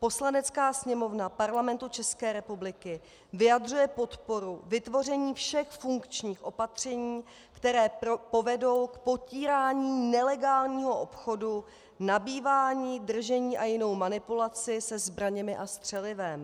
Poslanecká sněmovna Parlamentu České republiky vyjadřuje podporu vytvoření všech funkčních opatření, která povedou k potírání nelegálního obchodu, nabývání, držení a jinou manipulaci se zbraněmi a střelivem.